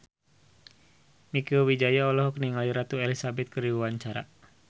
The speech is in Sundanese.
Mieke Wijaya olohok ningali Ratu Elizabeth keur diwawancara